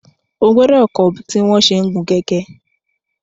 O gbọdọ kọ tí wọn ṣẹ n gun kẹkẹ!